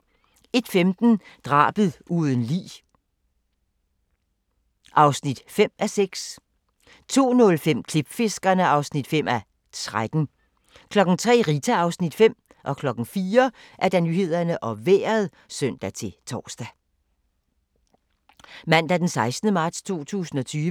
Mandag d. 16. marts 2020